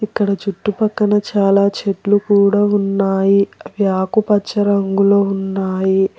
ఇక్కడ చుట్టుపక్కన చాలా చెట్లు కూడా ఉన్నాయి అవి ఆకుపచ్చ రంగులో ఉన్నాయి.